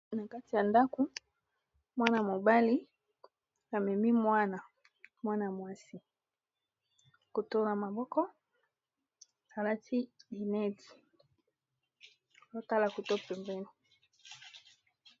Na kati ya ndaku mwana mobali amemi mwana mwana ya mwasi kotona maboko alati inedi lotala koto mpembeni.